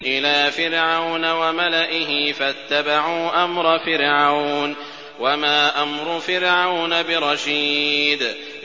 إِلَىٰ فِرْعَوْنَ وَمَلَئِهِ فَاتَّبَعُوا أَمْرَ فِرْعَوْنَ ۖ وَمَا أَمْرُ فِرْعَوْنَ بِرَشِيدٍ